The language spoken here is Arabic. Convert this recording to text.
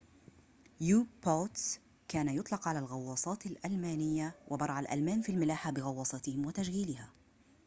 كان يطلق على الغواصات الألمانية u-boats وبرع الألمان في الملاحة بغواصاتهم وتشغيلها